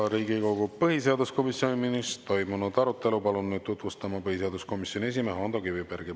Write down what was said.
Riigikogu põhiseaduskomisjonis toimunud arutelu palun nüüd tutvustama põhiseaduskomisjoni esimehe Ando Kivibergi.